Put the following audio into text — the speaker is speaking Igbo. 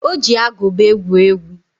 Ọ ji agụba egwu egwu.